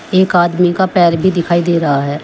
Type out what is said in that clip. एक आदमी का पैर भी दिखाई दे रहा है।